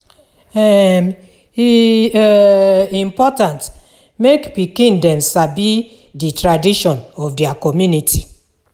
um E um important mek pikin dem sabi de tradition of dia community.